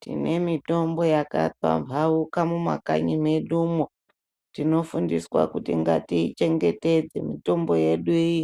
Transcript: Tine mitombo yaka pambauka mu makanyi mwedumwo tino fundiswa kuti ngati chengetedze mitombo yedu iyi